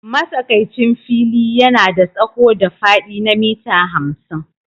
Matsakaicin fili yana da tsawo da faɗi na mita hamsin.